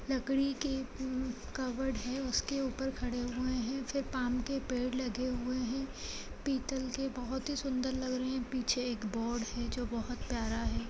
लकड़ी के ह्म कबर्ड हैं उसके ऊपर खड़े हुए हैं फिर पाल्म के पेड़ लगे हुए है पीतल के बहुत ही सुंदर लग रहे हैं पीछे एक बोर्ड है जो बहुत प्यारा है।